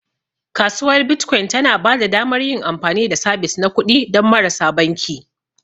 Kasuwar Bitcoin tana ba da damar yin amfani da sabis na kuɗi don marasa banki.